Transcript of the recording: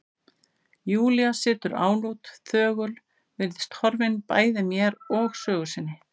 Júlía situr álút, þögul, virðist horfin bæði mér og sögu sinni.